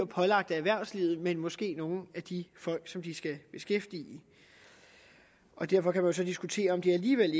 pålagt erhvervslivet men måske nogle af de folk som de skal beskæftige og derfor kan man jo så diskutere om det alligevel